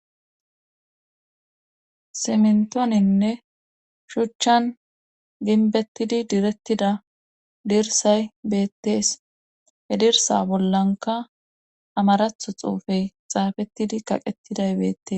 simntooninne shuchchan ginbettidi direttida dirsay beettees he dirsa bollanka amaratho xuufey xaafettidi kaqettiday beettes